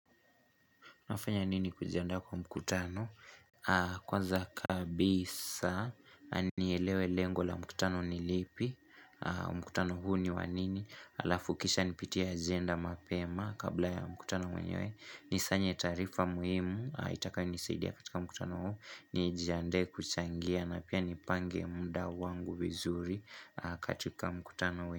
Nafanya nini kujiandaa kwa mkutano? Kwanza kabisa, nielewe lengo la mkutano ni lipi, mkutano huu ni wa nini, alafu kisha nipitie agenda mapema kabla ya mkutano mwenyewe, ni sanye taarifa muhimu, itakayo nisaidia katika mkutano huu, nijiandae kuchangia na pia nipange muda wangu vizuri katika mkutano.